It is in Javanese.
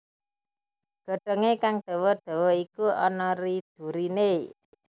Godhongé kang dawa dawa iku ana ri duri né